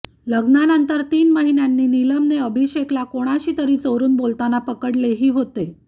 लग्नानंतर तीन महिन्यांनी नीलमने अभिषेकला कोणाशीतरी चोरून बोलताना पकडलेही होते